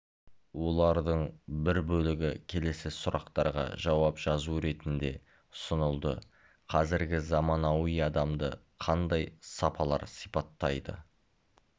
олардың бір бөлігі келесі сұрақтарға жауап жазу ретінде ұсынылды қазіргі заманауи адамды қандай сапалар сипаттайды